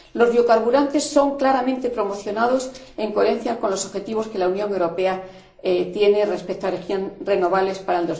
Los biocarburantes son claramente promocionados, en coherencia con los objetivos que la Unión Europea tiene respecto a las energías renovables para